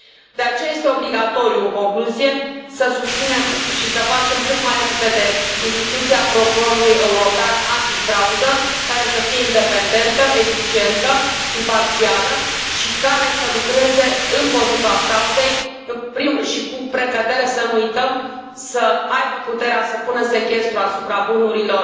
De aceea este obligatoriu, în concluzie, să susținem și să facem cât mai repede instituția Procurorului European antifraudă care să fie independentă, eficientă, imparțială și care să lucreze împotriva fraudei și cu precădere, să nu uităm, să aibă puterea să pună sechestru asupra bunurilor